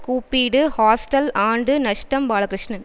கூப்பிடு ஹாஸ்டல் ஆண்டு நஷ்டம் பாலகிருஷ்ணன்